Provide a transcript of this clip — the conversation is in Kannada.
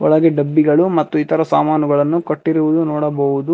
ಹಾಗೆ ಡಬ್ಬಿಗಳು ಮತ್ತು ಇತರ ಸಾಮಾನುಗಳನ್ನು ಕಟ್ಟಿರುವುದು ನೋಡಬಹುದು.